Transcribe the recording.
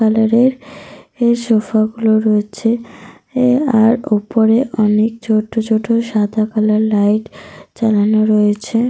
Colour -এর sofa -গুলো রয়েছে। আর ওপরে অনেক ছোট ছোট সাদা কালার লাইট জ্বালানো রয়েছে।